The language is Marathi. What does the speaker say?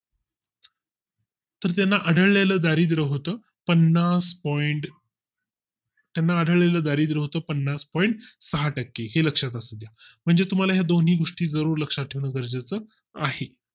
तर त्यांना आढळले लं दारिद्रय़ होतो पन्नास Point तर त्यांना आढळले लं दारिद्रय़ होतो पन्नास point सहा टक्के हे लक्षात असुद्या म्हणजे तुम्हाला या दोन्ही गोष्टी जरूर लक्षात ठेवणं गरजेचं आहे